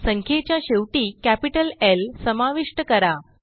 संख्येच्या शेवटी capital L समाविष्ट करा